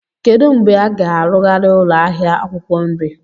Kedu mgbe a ga-arụgharị ụlọ ahịa akwukwo nri?